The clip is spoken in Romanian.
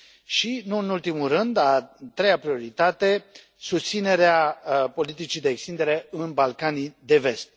și, nu în ultimul rând, a treia prioritate susținerea politicii de extindere în Balcanii de Vest.